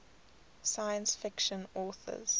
science fiction authors